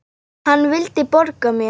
Hann vildi borga mér!